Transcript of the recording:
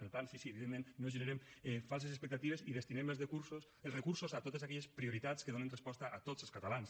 per tant sí sí evidentment no generem falses expectatives i destinem els recursos a totes aquelles prioritats que donen resposta a tots els catalans